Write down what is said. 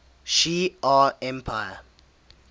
shi ar empire